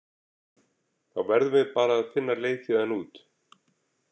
Þá verðum við bara að finna leið héðan út